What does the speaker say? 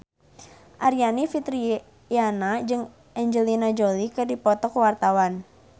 Aryani Fitriana jeung Angelina Jolie keur dipoto ku wartawan